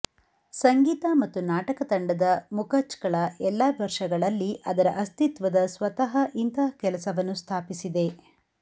ಸಂಗೀತ ಮತ್ತು ನಾಟಕ ತಂಡದ ಮಖಚ್ಕಳ ಎಲ್ಲಾ ವರ್ಷಗಳಲ್ಲಿ ಅದರ ಅಸ್ತಿತ್ವದ ಸ್ವತಃ ಇಂತಹ ಕೆಲಸವನ್ನು ಸ್ಥಾಪಿಸಿದೆ